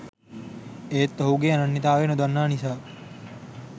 ඒත් ඔහුගේ අනන්‍යතාවය නොදන්නා නිසා